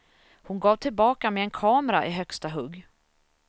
Hon gav tillbaka med en kamera i högsta hugg.